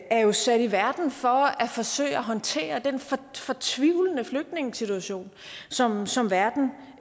er jo sat i verden for at forsøge at håndtere den fortvivlende flygtningesituation som som verden